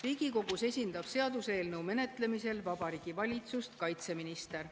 Riigikogus esindab seaduseelnõu menetlemisel Vabariigi Valitsust kaitseminister.